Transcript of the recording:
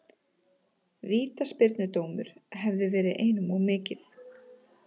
Vítaspyrnudómur hefði verið einum of mikið.